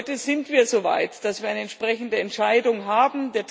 Heute sind wir so weit, dass wir eine entsprechende Entscheidung haben.